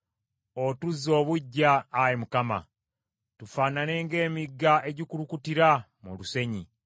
Otuzze obuggya, Ayi Mukama , tufaanane ng’emigga egikulukutira mu lusenyi.